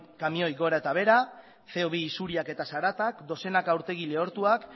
kamioi gora eta behera ce o bi isuriak eta zaratak dozenaka urtegi lehortuak